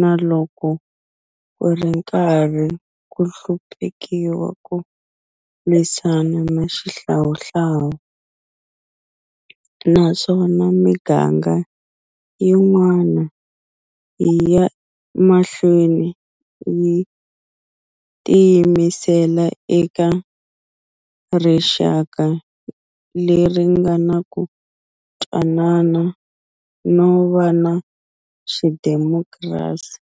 na loko ku ri karhi ku hluphekiwa ku lwisaniwa na xihlawuhlawu, naswona miganga yin'wana, yi ya mahlweni yi tiyimisela eka rixaka leri nga na ku twanana no va na xidemokirasi.